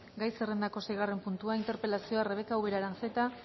gai zerrendako seigarren puntua interpelazioa rebeka ubera aranzeta